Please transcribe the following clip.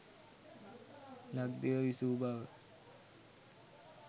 ලක්දිව විසූ බව